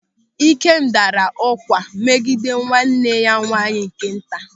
Ikem daara ụ̀gwa megide nwanne nwaanyị nke nta.